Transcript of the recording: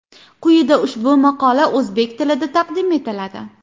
Quyida ushbu maqola o‘zbek tilida taqdim etiladi.